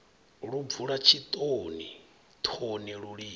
lu bvula tshitoni thoni lulimi